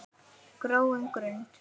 gróin grund!